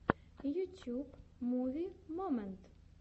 ютьюб муви момент